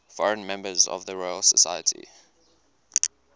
foreign members of the royal society